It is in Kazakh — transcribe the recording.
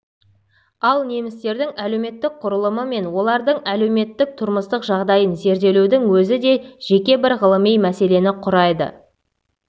ал немістердің әлеуметтік құрылымы мен олардың әлеуметтік-тұрмыстық жағдайын зерделеудің өзі де жеке бір ғылыми мәселені құрайды